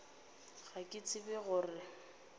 ga ke tsebe go re